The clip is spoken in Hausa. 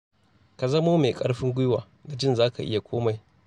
Ka zamo mai ƙarfin guiwa da jin za ka iya komai.